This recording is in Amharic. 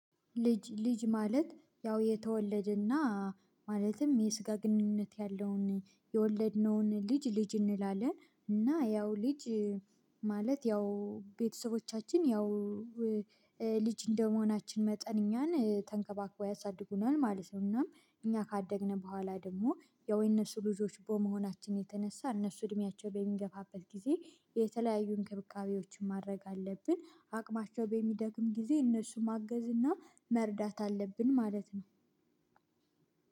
ልጅ ልጅ ማለት ያው የተወለደና ማለትም የስጋ ግንኙነት ያለውን የወለድነውን ልጅ ልጅ እንላለን እና ያው ልጅ ማለት ያው ቤተሰቦቻችን ያው ልጅ እንደመሆናችን መጠን እኛን ተንከባክበው ያሳድጉናል ማለት ነው። እናም እኛ ካደግነው በኋላ ደግሞ የወይነሱ ልጆች በመሆናችን የተነሳ እነሱ እድሜያቸው በሚገፋበት ጊዜ የተለያዩ እንክብካቤዎችን ማድረግ አለብን። አቅማቸው በሚደክም ጊዜ እነሱ ማገዝ እና መርዳት አለብን ማለት ነው።